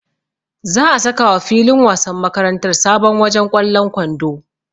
Za'a sakawa filin wasan makarantar sabon wajen ƙwallon kwando.